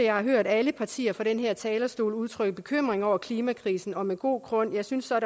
har hørt alle partier fra den her talerstol udtrykke bekymring over klimakrisen og det med god grund jeg synes så at